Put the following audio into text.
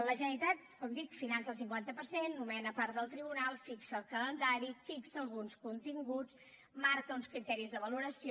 la generalitat com dic finança el cinquanta per cent nomena part del tribunal fixa el calendari fixa alguns continguts marca uns criteris de valoració